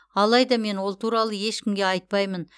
алайда мен ол туралы ешкімге айтпаймын